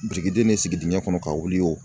Birikiden ni sigi dingɛ kɔnɔ kasɔrɔ ka wuli o